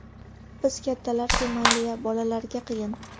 Biz kattalar-ku mayli-ya, bolalarga qiyin.